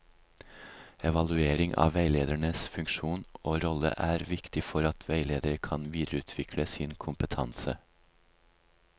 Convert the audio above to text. Evaluering av veilederens funksjon og rolle er viktig for at veileder kan videreutvikle sin kompetanse.